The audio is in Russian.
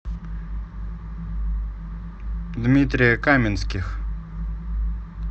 дмитрия каменских